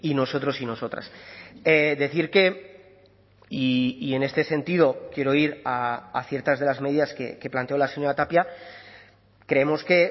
nosotros y nosotras decir que y en este sentido quiero ir a ciertas de las medidas que planteó la señora tapia creemos que